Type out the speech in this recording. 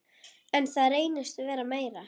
En það reynist vera meira.